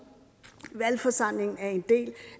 valgforsamlingen er en del